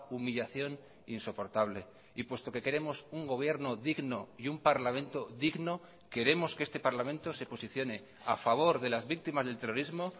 humillación insoportable y puesto que queremos un gobierno digno y un parlamento digno queremos que este parlamento se posicione a favor de las víctimas del terrorismo